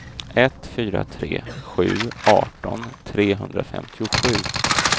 ett fyra tre sju arton trehundrafemtiosju